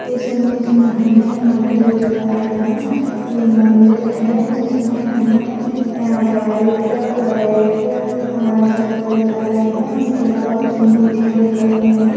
इस इमेज मे हमे मंदिर दिखाये गए है ये मंदिर है जिसमे हमे ये व्हाइट रेड ऐसे कलर दिखाये गए है इसके अलावा कुछ मूर्तिया दिखाई गई है।